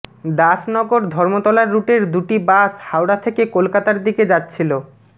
দাস নগর ধর্মতলার রুটের দুটি বাস হাওড়া থেকে কলকাতার দিকে যাচ্ছিল